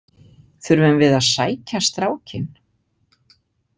Þurfum við að sækja strákinn?